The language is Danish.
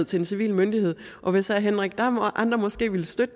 til en civil myndighed og hvis herre henrik dam kristensen og andre måske ville støtte